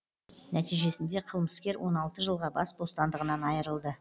нәтижесінде қылмыскер он алты жылға бас бостандығынан айырылды